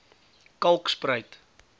kalkspruit